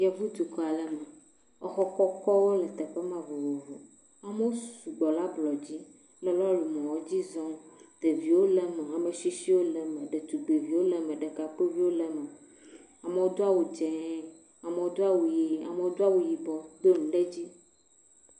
yevu dukɔale me exɔ kɔkɔwo le teƒema vovovo amowo sugbɔ le ablɔdzi le lɔri mɔwo dzi zɔm ɖeviwo le me amesisiwo le me tugbedzɛwo le me ɖekakpiwo le me amoɔ dɔ wu dzɛ̃ amoɔ dɔ wu yi amoɔ dɔ wu yibɔ dó nu ɖedzi